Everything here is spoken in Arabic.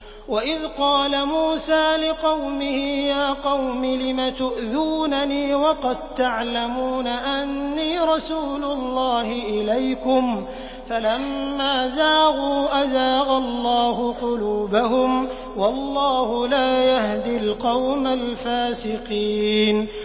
وَإِذْ قَالَ مُوسَىٰ لِقَوْمِهِ يَا قَوْمِ لِمَ تُؤْذُونَنِي وَقَد تَّعْلَمُونَ أَنِّي رَسُولُ اللَّهِ إِلَيْكُمْ ۖ فَلَمَّا زَاغُوا أَزَاغَ اللَّهُ قُلُوبَهُمْ ۚ وَاللَّهُ لَا يَهْدِي الْقَوْمَ الْفَاسِقِينَ